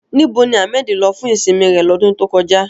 Níbo ni Ahmed lọ fún ìsinmi rẹ̀ lọ́dún tó kọjá?